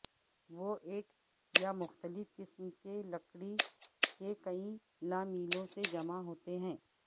وہ ایک یا مختلف قسم کے لکڑی کے کئی لامیلوں سے جمع ہوتے ہیں